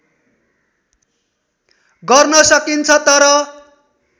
गर्न सकिन्छ तर